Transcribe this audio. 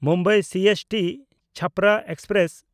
Mumbai ᱥᱤᱮᱥᱴᱤ–ᱪᱷᱟᱯᱨᱟ express